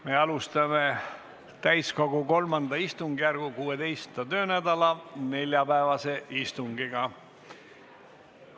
Me alustame täiskogu III istungjärgu 16. töönädala neljapäevast istungit.